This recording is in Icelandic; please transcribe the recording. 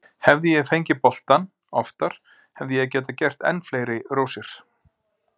Hefði ég fengið boltann oftar hefði ég getað gert enn fleiri rósir.